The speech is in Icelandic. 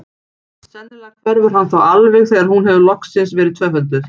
Sennilega hverfur hann þá alveg þegar hún hefur loksins verið tvöfölduð.